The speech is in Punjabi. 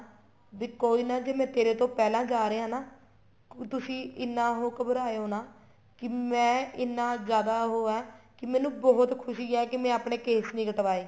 ਵੀ ਕੋਈ ਨਾ ਜ਼ੇ ਮੈਂ ਤੇਰੇ ਤੋ ਪਹਿਲਾ ਜਾ ਰਿਹਾ ਹਾਂ ਨਾ ਤੁਸੀਂ ਇੰਨਾ ਉਹ ਘਬਰਾਓ ਨਾ ਕੀ ਮੈਂ ਐਨਾ ਜਿਆਦਾ ਉਹ ਹਾਂ ਕੀ ਮੈਨੂੰ ਬਹੁਤ ਖੁਸ਼ੀ ਹੈ ਕੀ ਆਪਣੇ ਕੇਸ ਨਹੀਂ ਕਟਵਾਏ